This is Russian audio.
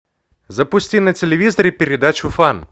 запусти на телевизоре передачу фан